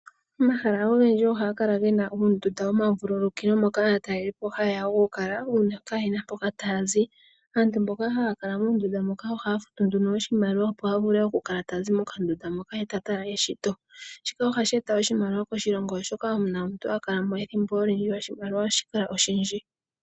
Omahala ogendji ohaga kala gena uundunda woma vululukilo moka aatalelipo hayeya okukala uuna kayena mpoka taya zi. Aantu mboka haya kala muundunda muka ohaya futu nduno oshimaliwa opo a vule oku kala tazi mo kandunda moka ye ta tala eshito shika ohashi eta oshimaliwa koshilongo oshoka ethimbo olindji oshimaliwa ohashi kala oshindji.